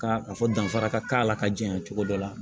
Ka a fɔ danfara ka k'a la ka janya cogo dɔ la